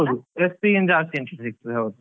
ಹೌದು SB ಗಿಂತ ಜಾಸ್ತಿ interest ಸಿಗ್ತದೆ ಹೌದು.